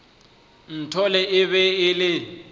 nthole e be e le